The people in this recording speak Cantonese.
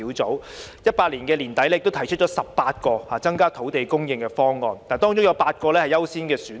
專責小組在2018年年底提出18個增加土地供應的方案，當中有8個優先選項。